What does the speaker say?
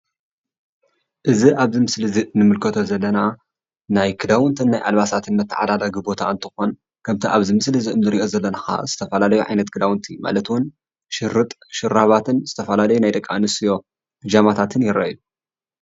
እዚ ኣብዚ ምስሊ እዚ እንምልከቶ ዘለና ናይ ክዳውንትን ኣልባሳት መታዓዳደጊ ቦታ እንተኸውን፣ ከምቲ ኣብ ምስሊ ንርኦ ዘለና ዝተፈላለዩ ዓይነት ክዳውንትን ሽርጥ ሹራብን ናይ ደቂ ኣንስትዮ ብጃማታትን ይረኣዩ።